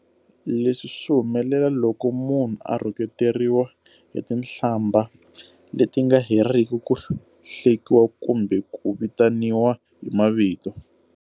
Leswi swi humelela loko munhu a rhuketeriwa hi tihlambha leti nga heriki, ku hlekiwa kumbe ku vitaniwa hi mavito.